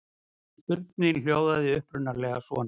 Spurningin hljóðaði upprunalega svona: